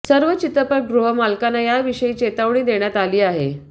सर्व चित्रपटगृह मालकांना याविषयी चेतावणी देण्यात आली आहे